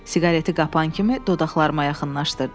Siqareti qapan kimi dodaqlarıma yaxınlaşdırdım.